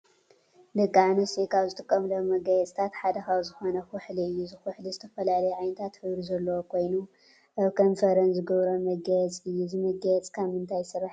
ደቂ አንስትዮ ካብ ዝጥቀማሉ መጋየፅታት ሓደ ካብ ዝኮነ ኩሕሊ እዩ። እዚ ኩሕሊ ዝተፈላለዩ ዓይነታት ሕብሪ ዘለዎ ኮይኑ አብ ከንፈረን ዝገብሮኦ መጋየፂ እዩ። እዚ መጋየፂ ካብ ምንታይ ዝስራሕ ይመስለኩም?